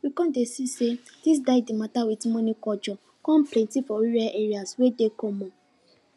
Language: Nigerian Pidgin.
we come dey see say dis die de mata with monie culture come plenty for rural areas wey dey common